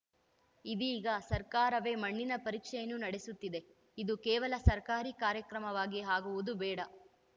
ಇದೀಗ ಸರ್ಕಾರವೇ ಮಣ್ಣಿನ ಪರೀಕ್ಷೆಯನ್ನು ನಡೆಸುತ್ತಿದೆ ಇದು ಕೇವಲ ಸರ್ಕಾರಿ ಕಾರ್ಯಕ್ರಮವಾಗಿ ಆಗುವುದು ಬೇಡ